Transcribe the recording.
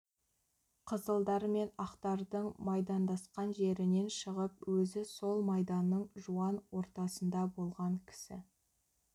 қызылдар мен ақтардың майдандасқан жерінен шығып өзі сол майданның жуан ортасында болған кісі